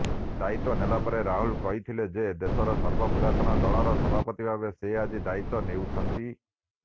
ଦାୟିତ୍ୱ ନେଲାପରେ ରାହୁଲ କହିଥିଲେ ଯେ ଦେଶର ସର୍ବପୁରାତନ ଦଳର ସଭାପତିଭାବେ ସେ ଆଜି ଦାୟିତ୍ୱ ନେଉଛନ୍ତି